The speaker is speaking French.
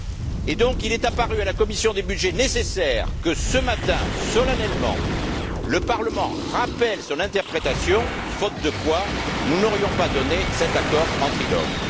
Il est donc apparu nécessaire à la commission des budgets nécessaire que ce matin, solennellement, le Parlement rappelle son interprétation, faute de quoi nous n'aurions pas donné cet accord en trilogue.